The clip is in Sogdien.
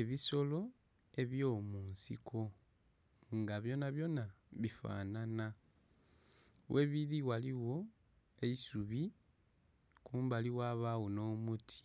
Ebisolo ebyo munsiko nga byonabyona bifananha, ghebili ghaligho eisubi kumbali ghabagho nho muti